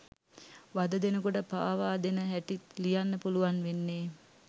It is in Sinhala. වද දෙනකොට පාවා දෙන හැටිත් ලියන්න පුළුවන් වෙන්නෙ